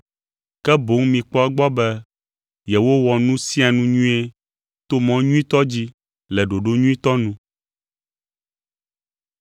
Ke boŋ mikpɔ egbɔ be yewowɔ nu sia nu nyuie to mɔ nyuitɔ dzi le ɖoɖo nyuitɔ nu.